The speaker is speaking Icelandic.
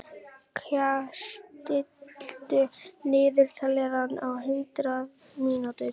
Kaj, stilltu niðurteljara á hundrað mínútur.